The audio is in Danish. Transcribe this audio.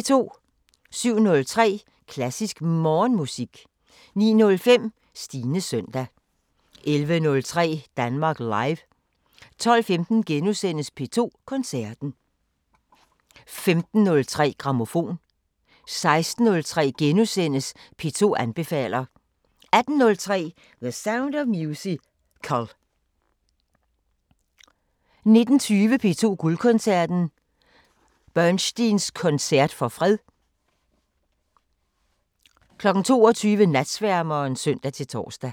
07:03: Klassisk Morgenmusik 09:05: Stines søndag 11:03: Danmark Live 12:15: P2 Koncerten * 15:03: Grammofon 16:03: P2 anbefaler * 18:03: The Sound of Musical 19:20: P2 Guldkoncerten: Bernsteins koncert for fred 22:00: Natsværmeren (søn-tor)